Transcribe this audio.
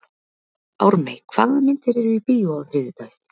Ármey, hvaða myndir eru í bíó á þriðjudaginn?